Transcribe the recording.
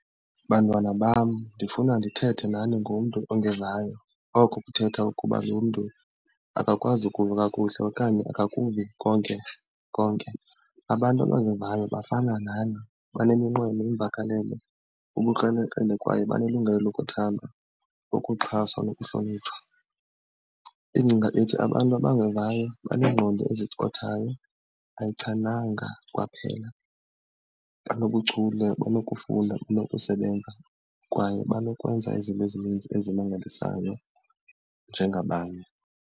Bantwana bam ndifuna ndithethe nani ngomntu ongevayo, oko kuthetha ukuba lomntu akakwazi ukuva kakuhle okanye akakuvi konkekonke. Abantu abangevayo bafana nani, baneminqweno, iimvakalelo, ubukrelekrele kwaye banelungelo lokuthandwa, ukuxhaswa nokuhlonitshwa. Ingcinga ethi abantu abangevayo baneengqondo ezicothayo ayichananga kwaphela. Banobuchule, banokufunda, banokusebenza kwaye banokwenza izinto ezininzi ezimangalisayo njengabanye.